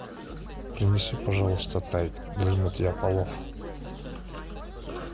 принеси пожалуйста тайд для мытья полов